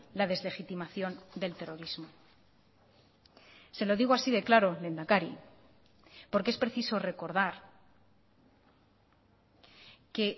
la deslegitimación del terrorismo se lo digo así de claro lehendakari porque es preciso recordar que